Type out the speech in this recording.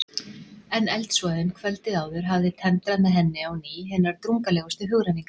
En eldsvoðinn kvöldið áður hafði tendrað með henni á ný hinar drungalegustu hugrenningar.